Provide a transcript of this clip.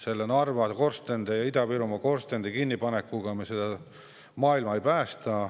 Narva ja Ida-Virumaa korstnate kinnipanekuga me seda maailma ei päästa.